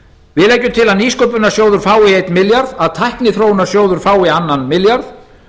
við leggjum til að nýsköpunarsjóður fái einn milljarð að tækniþróunarsjóður fái annan milljarð